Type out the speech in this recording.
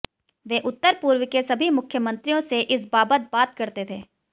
वे उत्तर पूर्व के सभी मुख्यमंत्रियों से इस बाबत बात करते थे